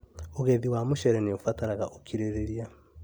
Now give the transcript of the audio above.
ũgethi wa mũcere nĩũbatara ũkirĩrĩria